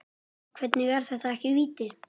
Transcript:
Hvernig er þetta ekki víti?